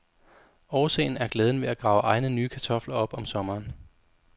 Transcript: Årsagen er glæden ved at grave egne nye kartofler op om sommeren.